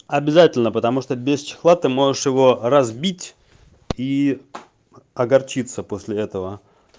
обязательно потому что без чехла ты можешь его разбить и огорчиться после этого